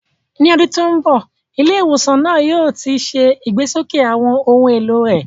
Ní ọdún tó ń bọ̀, ilé ìwòsàn náà yóò ti ṣe ìgbésókè àwọn ohun èlò rẹ̀.